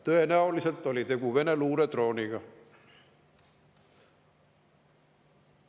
Tõenäoliselt oli tegu Vene luuredrooniga.